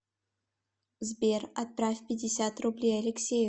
сбер отправь пятьдесят рублей алексею